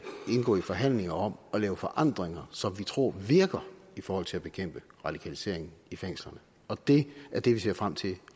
indgå i forhandlinger om at lave forandringer som vi tror virker i forhold til at bekæmpe radikalisering i fængslerne og det er det vi ser frem til